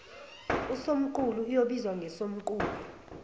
usomqulu oyobizwa ngosomqulu